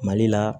Mali la